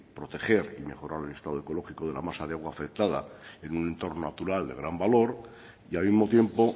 proteger y mejorar el estado ecológico de la masa de agua afectada en un entorno natural de gran valor y al mismo tiempo